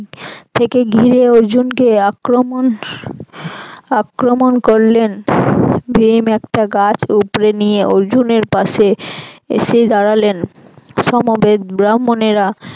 থেকে ঘিরে অর্জুনকে আক্রমন আক্রমন করলেন ভীম একটা গাছ উপড়ে নিয়ে অর্জুনের পাশে এসে দাড়ালেন সমবেত ব্রাহ্মণেরা